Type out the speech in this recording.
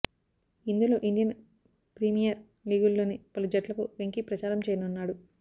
ఇందులో Indian Premier లీగుల్లోని పలు జట్లకు వెంకీ ప్రచారం చేయనున్నాడు